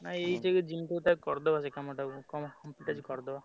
ନାଇଁ ଏଇ ଜିମିତି ହଉ କରିଦବା nonHumanvocal ସେ କାମ ଟାକୁ କରିଦବା।